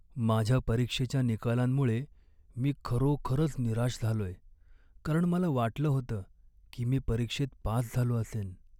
माझ्या परीक्षेच्या निकालांमुळे मी खरोखरच निराश झालोय, कारण मला वाटलं होतं की मी परीक्षेत पास झालो असेन.